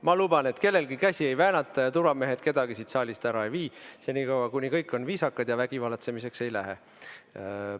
Ma luban, et kellelgi käsi ei väänata ja turvamehed kedagi siit saalist ära ei vii, senikaua, kuni kõik on viisakad ja vägivallatsemiseks ei lähe.